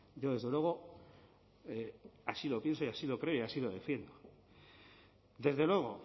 yo desde luego así lo pienso y así lo creo y así lo defiendo desde luego